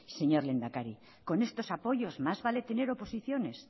señor lehendakari con estos apoyos más vale tener oposiciones